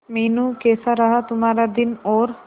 मीनू कैसा रहा तुम्हारा दिन और